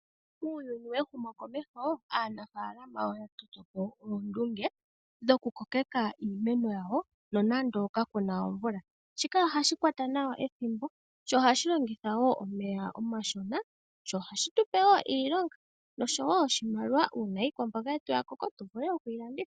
Uuyuni wehumokomeho aanafaalama oya toto po oondunge dhokukokeka iimeno yawo nonando kaku na omvula. Shika ohashi kwata nawa ethimbo, sho ohashi longitha wo omeya omashona, sho ohashi tu pe wo iilonga noshowo oshimaliwa una iikwamboga yetu ya koko tu vule oku yi landitha.